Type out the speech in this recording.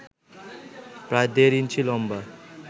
প্রায় দেড় ইঞ্চি লম্বা